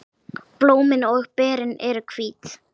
Blómin og berin eru hvít.